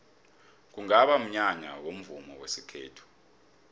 kungaba mnyanya womvumo wesintu